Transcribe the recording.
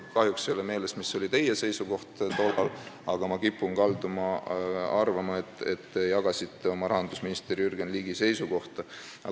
Mul kahjuks ei ole meeles, mis oli tollal teie seisukoht, aga ma kipun arvama, et te jagasite oma rahandusministri Jürgen Ligi seisukohta.